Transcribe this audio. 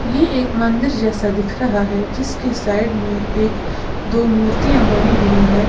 ये यह एक मंदिर जैसा दिख रहा है जिसके साइड में एक दो मूर्तियां बनी हुई है।